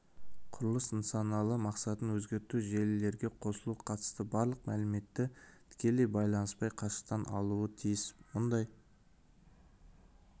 құрылыс нысаналы мақсатын өзгерту желілерге қосылуға қатысты барлық мәліметті тікелей байланыспай қашықтықтан алуы тиіс мұндай